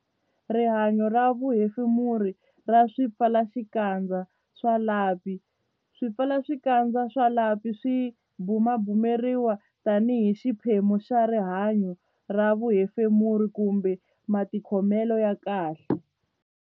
Rihanyo ra vuhefemuri ra swipfalaxikandza swa lapi Swipfalaxikandza swa lapi swi bumabumeriwa tanihi xiphemu xa rihanyo ra vuhefemuri kumbe matikhomelo ya kahle.